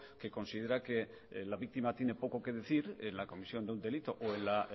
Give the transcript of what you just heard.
que considera que la víctima tiene poco que decir en la comisión de un delito o en la